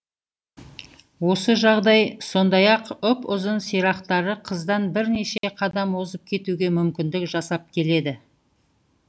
осы жағдай сондай ақ ұп ұзын сирақтары қыздан бірнеше қадам озып кетуге мүмкіндік жасап келеді